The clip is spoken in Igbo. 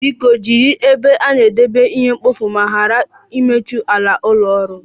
Biko jiri ebe a na-edebe ihe mkpofu ma ghara ịtụfu ala ụlọ ọrụ